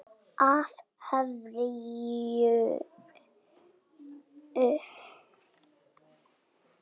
Af hverju núna?